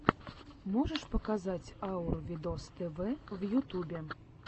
можешь показать аур видос тв в ютюбе